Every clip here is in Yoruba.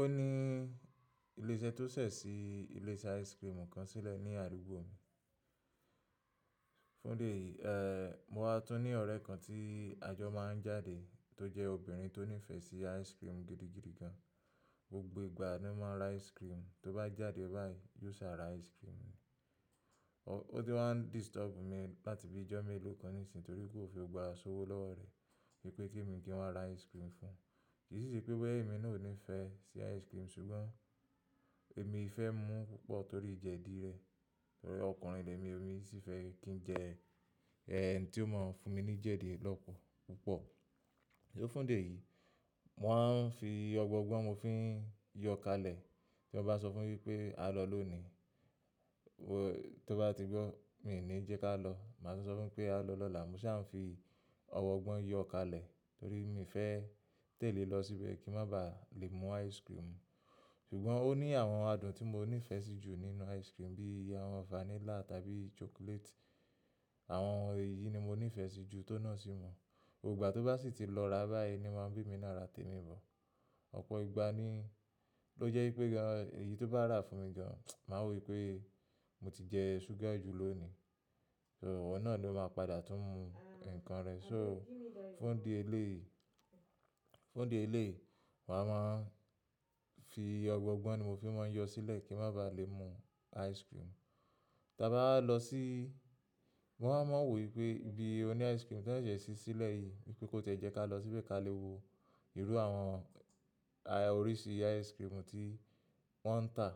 Ó ní ilé iṣẹ́ tó ṣẹ̀ sí ilé iṣẹ́ ice cream kan sílẹ̀ ní àdúgbò mi. Fún dé yìí, eh, mo wá tún ní ọ̀rẹ́ kan tí àjọ máa ń jáde tó jẹ́ obìnrin tó nífẹ̀ẹ́ sí ice cream gidi gidi gan. Gbogbo ìgbà ni ó máa ń ra ice cream, tó bá jáde báyìí yóò sá ra ice cream. Ó ti wá ń disturb mi láti bíi ọjọ́ mélòó kan níìsín torí pé ò fi ògbà asowó lọ́wọ́ rẹ̀ wípé kí mi kí wọ́n ra ice cream fún un. Kì í ṣe pé bọ́ ẹ́ èmi náà ò nífẹ̀ẹ́ sí ice cream ṣùgbọ́n èmi fẹ́ mú púpọ̀ torí jẹ̀ dí rẹ̀. Torí ọkùnrin ilẹ̀ mi, èmi sì fẹ́ kí n jẹ, eh, ẹni tí ó máa ń fún mi ní jẹ̀ dí lọ́pọ̀ púpọ̀. Ni ó fún dé e yìí, mo máa ń fi ọ̀gbọ̀gbọ́n mi fún ń yọ káalẹ̀. Tí wọ́n bá sọ fún mi wípé a lọ lónìí, wò, tó bá ti gbọ́ mi ni jẹ́ ká lọ. Màá tún sọ fún pé a lọ lọ́la, mo sì á ń fi ọ̀wọ̀ ọgbọ́n yọ káalẹ̀ torí mi fẹ́ tẹ̀lé lọ síbẹ̀ kí n má ba à lè mú ice cream. Ṣùgbọ́n ó ní àwọn adùn tí mo nífẹ̀ẹ́ sí jù nínú ice cream bí i àwọn vanilla tàbí chocolate. Àwọn ohun yìí ni mo nífẹ̀ẹ́ sí jù tó na sí wọ́n. Gbogbo gbà tó bá sì ti lọ ra báyìí ni máa ń bí mi náà ra tèmi bọ̀. Ọ̀pọ̀ ìgbà ni ló jẹ́ wípé, gan, èyí tó bá rà fún mi gan, màá wò wípé mo ti jẹ sugar jù lónìí. So iwo náà ló máa padà tún mú ǹkan rẹ̀. So fún idi eléyi, fún di eleyi, màá máa ń fi ọ̀gbọ̀gbọ́n ni mo fi máa ń yọ sílẹ̀ kí n má ba lè mú ice cream. Tí a bá lọ sí, mo wa máa ń mọ̀ wò wípé ibi oní ice cream tó ṣẹ̀se ṣí sílẹ̀ yìí wípé kó ti ẹ́ jẹ́ ká lọ síbẹ̀ ka le wo irú àwọn oríṣi ice cream tí wọ́n ń tà.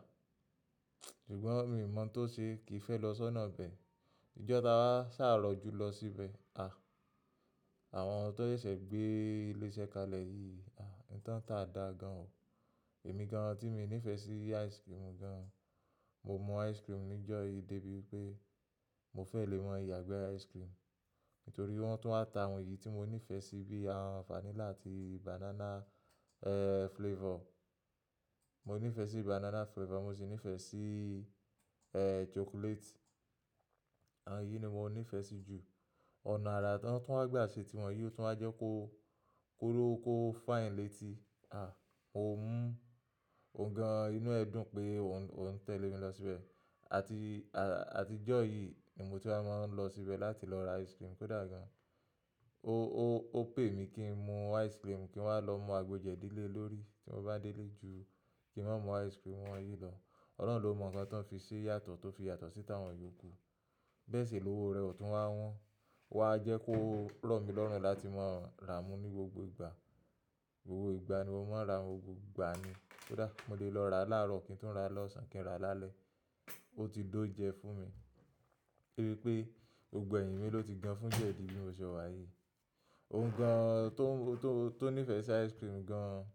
Ṣùgbọ́n mi ò mọ̀ tó ṣe kí n fẹ́ lọ sọ́nà bẹ́ẹ̀. Ìjọ́ ta wá sá rọ ju lọ síbẹ̀. Àwọn tó ṣẹ̀se gbé ilé iṣẹ́ kalẹ̀ yìí, n tan táa dà gan o. Èmi gan tí mi nífẹ̀ sí ice cream gan. Mo mu ice cream nijo yìí de bi wípé mo fe le ma ya igbe icecream nítorí wọ́n tún wà ta àwọn èyí tí mo nífẹ́ sí bí àwọn vanilla àti banana, flavor. Mo nífẹ̀ẹ́ sí banana flavor, mo sì nífẹ̀ẹ́ sí, eh, chocolate. Àwọn yìí ni mo nífẹ̀ẹ́ sí jù. Ọ̀nà ara tí wọ́n tún wá gbà ṣe tí wọn yìí o tún wá jẹ́ kó ko kó kó fine létí. Mo mú òun gan inú ẹ dùn pé ò ń tẹ̀lé mi lọ síbẹ̀. Àti, àti ìjọ́ yìí ni mo ti wá máa ń lọ síbẹ̀ láti lọ ra ice cream kó dà gan. Ó, ó, ó pè mi kí n mú ice cream kí n wá lọ mú àgbo jẹ̀dí lé lórí tí mo bá délé ju kí n má mú ice cream wọn yìí lọ. Ọ̀lorun ló mọ̀ ǹkan tó ń fi ṣe yàtọ̀, tó fi yàtọ̀ sí tàwọn iyòkù. Bẹ́ẹ̀ sì lówó rẹ̀ ó tún wá wọ́n. O wá jẹ́ kó rọ̀ mí lọ́rùn láti máa rá mú ní gbogbo ìgbà. Gbogbo ìgbà ni mo máa ń ra, gbogbo ìgbà ni kó dà. Mo lè lọ ra láàárọ̀, kí n tun ra lọ̀sán kí n rà lálẹ́. Ó ti dó oúnjẹ fún mi. Torí pé gbogbo ẹ̀yìn mi ló ti gan fún jẹ̀dí bí mo ṣe wá yìí. Òhuǹ gan tó, tó, tó nífẹ̀ sí ice cream gan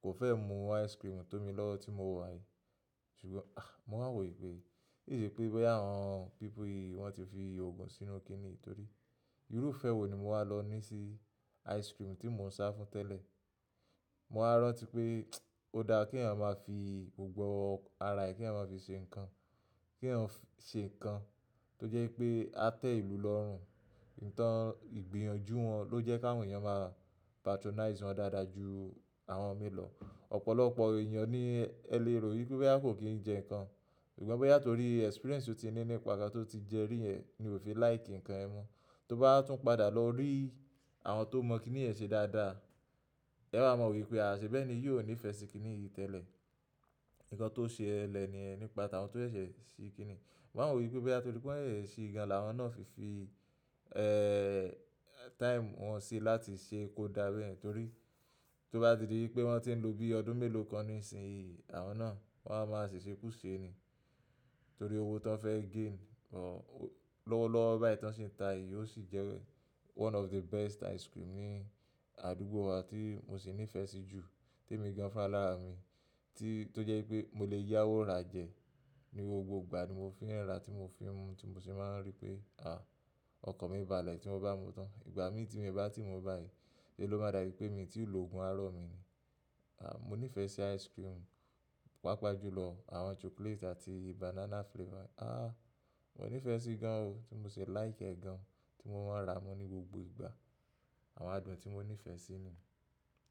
kò fẹ́ mú ice cream tó mi lọ́wo tí mo wá yìí. Ṣùgbọ́n, mo máa ń wò wípé kì ṣe o sepé boya àwọn people yìí wọ́n ti fi ògùn sínú kí ni, torí irú ìfẹ́ wo ni mo wá lọ ní sí ice cream tí mo ń sá fún tẹ́lẹ̀? Mo wa rántí pé ó dáa kí èyàn máa fi ògùn ara ẹ, kí èèyàn máa fi ṣe ǹkan. Kí èèyàn ṣe ǹkan tó jẹ́ wipé á tẹ́ ìlú lọ́rùn. Nǹkan ìgbìyànjú wọn ló jẹ́ kí àwọn èèyàn máa patronize wọn dáadáa ju àwọn min ló. Ọ̀pọ̀lọpọ̀ eyan ni ele ro wípé boya ko ki n je nkan ṣùgbọ́n bóyá torí experience tí o ti ní nípa nkán tó ti jẹ rí yẹn ni o fi like ǹkan yẹn mo. Tó bá tún padà lọ rí àwọn tó mọ̀n kíni yẹn ṣe dáadáa, ẹ wa máa rọ̀ wípé ṣẹ́ bẹ́ni yi óò nífẹ̀ sí kíni yìí tẹ́lẹ̀. Ǹkan tó ṣelẹ ni yẹn nípa tàwọn tó ṣẹ̀ ṣe kíni. Mo maa n wo wípé to pe boya won sese sii ni àwọn náà fi fi time si láti se kódà bayen torí tó bá ti di wipé wọ́n ti ń lo bí ọdún mélòó kan nísinyí, àwọn náà wọ́n á máa ṣèṣe kú ṣe ni. Torí owó tó ń fẹ́ gain, lọ́wọ́lọ́wọ́ báyìí tó ń ṣi ń ta yìí ó sì jẹ́ one of the best ice cream ní àdúgbò wa tí mo sì nífẹ́ sí jù tèmi gan fún ra alára mi. Tí, tó jẹ́ wípé mo lè yáwó ra jẹ ní gbogbo ìgbà ni mo fi ń rà tí mo fi ń mú tí mo sì máa ń rí pé, ọkan mi bálẹ̀ tí mo bá mú tán. Ìgbà mí tí mi o bá ti mú báyìí, sè ló máa dàbí pé mi ti lòògùn aró mi ni. Ah, mo nífẹ̀ẹ́ sí ice cream, pàápàá jùlọ àwọn chocolate àti banana flavor. Ah, mo nífẹ̀ẹ́ sí gan o tí mo ṣi like e gan tí mo máa ń rà mú ní gbogbo ìgbà. Àwọn adùn ti mo nife si niyen.